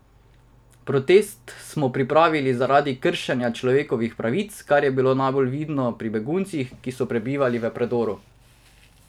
Protest smo pripravili zaradi kršenja človekovih pravic, kar je bilo najbolj vidno pri beguncih, ki so prebivali v predoru.